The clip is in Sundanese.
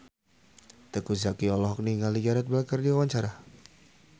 Teuku Zacky olohok ningali Gareth Bale keur diwawancara